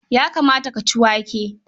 Ya kamata ka ci wake.